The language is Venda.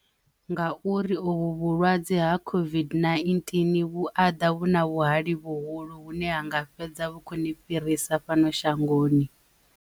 Nga uri ovhu vhulwadze ha COVID-19 vhu aḓa vhu na vhuhali vhuhulu hune ha nga fhedza vhukoni fhirisa fhano shangoni.